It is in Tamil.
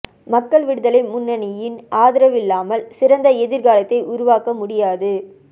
மக்கள் விடுதலை முன்னணியின் ஆதரவில்லாமல் சிறந்த எதிர் காலத்தை உருவாக்க முடியாது